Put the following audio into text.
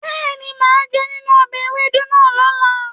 Bẹ́ẹ̀ni, màá jẹ nínú ọbẹ̀ ewédú náà lọ́la